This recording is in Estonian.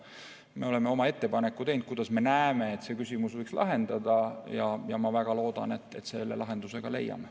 Me oleme oma ettepaneku teinud, kuidas me näeme, et see küsimus võiks laheneda, ja ma väga loodan, et me selle lahenduse ka leiame.